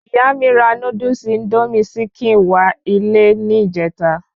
Ìyá mi ra Núdúsì "Índómì sikèn"wá ilé ni ìjẹta